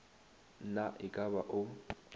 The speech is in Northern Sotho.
na e ka ba o